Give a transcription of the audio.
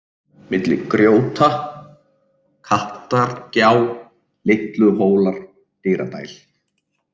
Milli grjóta, Kattargjá, Litluhólar, Dyradæl